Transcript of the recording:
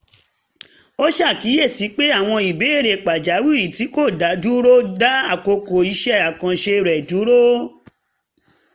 ó ṣàkíyèsí pé àwọn ìbéèrè pàjáwìrì tí kò dáwọ́ dúró ń da àkókò iṣẹ́ àkànṣe rẹ̀ dúró